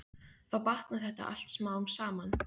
Þá batnar þetta allt smám saman.